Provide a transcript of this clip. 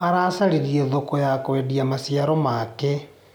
Aracaririe thoko ya kwendia maciaro make.